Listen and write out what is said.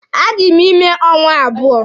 A dị m ime ọnwa abụọ.